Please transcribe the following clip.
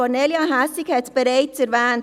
Kornelia Hässig hat es bereits erwähnt.